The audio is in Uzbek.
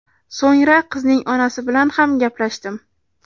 So‘ngra qizning onasi bilan ham gaplashdim.